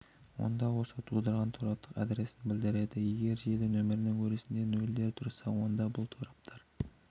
онда осы тудырған тораптық адресін білдіреді егер желі нөмірінің өрісінде нольдер тұрса онда бұл торап